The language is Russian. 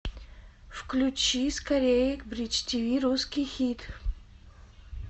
включи скорее бридж ти ви русский хит